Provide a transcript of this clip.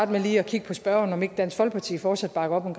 med lige at kigge på spørgeren om ikke dansk folkeparti fortsat bakker op om